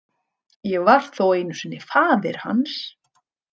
Ég var þó einu sinni faðir hans.